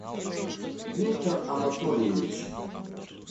виктор анатольевич